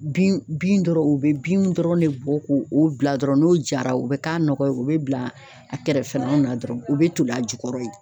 Bin bin dɔrɔn u be bin dɔrɔn de bɔ k'o o bila dɔrɔn n'o jara o bɛ k'a nɔgɔ ye u bɛ bila a kɛrɛfɛlaw na dɔrɔn u bɛ toli a jukɔrɔ ye.